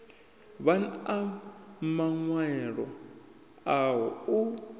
vhan a maṅwaelo aho u